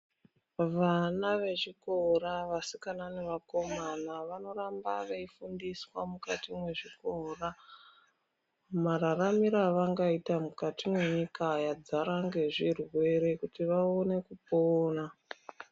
Vana vechikora vasikana nevakomana vanoramba veifundiswa mukati mwezvikora. Mararamiro avangaita mukati mwenyika yadzara ngezvirwere kuti vaone kupona.